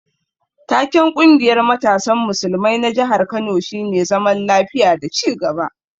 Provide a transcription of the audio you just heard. Taken ƙungiyar matasan musulmai na jihar Kano shine zaman lafiya da ci gaba.